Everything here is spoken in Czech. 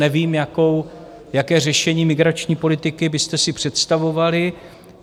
Nevím, jaké řešení migrační politiky byste si představovali.